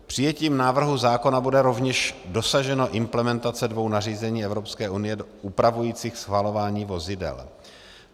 Přijetím návrhu zákona bude rovněž dosaženo implementace dvou nařízení Evropské unie upravujících schvalování vozidel.